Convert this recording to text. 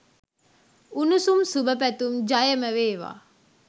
උණුසුම් සුබ පැතුම්. ජයමවේවා.